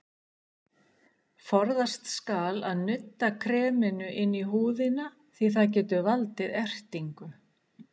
Forðast skal að nudda kreminu inn í húðina því það getur valdið ertingu.